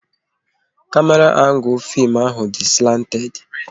Kamera angul fim ahụ dị slanted